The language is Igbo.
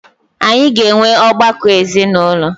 Anyị ga enwe ọgbakọ ezinụlọ.